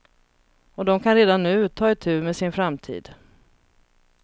Och de kan redan nu ta itu med sin framtid.